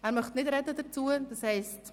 – Er möchte nicht dazu sprechen.